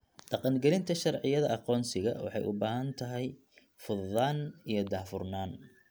Dhaqangelinta sharciyada aqoonsiga waxay u baahan tahay fududaan iyo daahfurnaan.